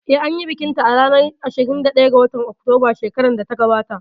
Eh, anyi bikin ta a ranar ashirin da ɗaya ga watan Oktoba shekarar da ta gabata